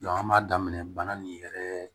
an b'a daminɛ bana nin yɛrɛ